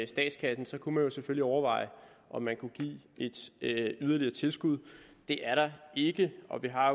statskassen kunne man selvfølgelig overveje om man kunne give et yderligere tilskud det er der ikke og vi har